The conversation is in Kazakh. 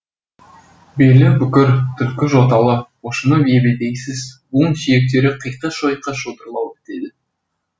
белі бүкір түлкі жоталы пошымы ебедейсіз буын сүйектері қиқы шойқы шодырлау бітеді